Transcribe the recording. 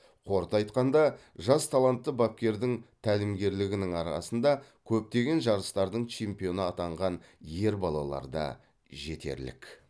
қорыта айтқанда жас талантты бапкердің тәлімгерлерінің арасында көптеген жарыстардың чемпионы атанған ер балалар да жетерлік